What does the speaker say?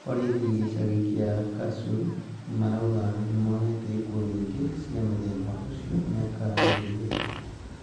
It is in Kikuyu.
Borithi gĩcagi kĩa Kasur, maraũga nĩmonete ikuũ nyingĩ cia mũthemba ucio miaka ĩĩri mĩthiru.